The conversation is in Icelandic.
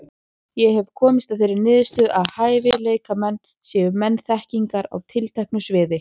Ég hef komist að þeirri niðurstöðu, að hæfileikamenn séu menn þekkingar á tilteknu sviði.